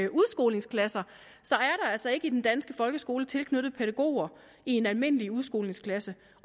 der altså ikke i den danske folkeskole er tilknyttet pædagoger i en almindelig udskolingsklasse